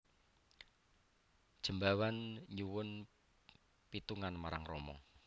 Jembawan nyuwun pitungan marang Rama